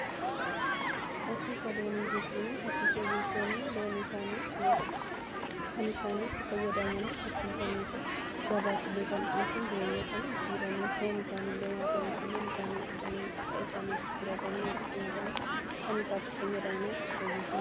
Horsiisa loonii jechuun horsiisee bultoonni loon kan isaanitti fayyadamanii horsiisaniti gabaaf illee kan dhi'eessan jireenya isaanii jijiiranii, foon isaanii illee nyaatanii, aannan isaanii dhuganii. dhadhaa isaanii gurguratanii yookiin nyaatanii kan irraa fayyadamanii horsiisee bultoota jedhamu.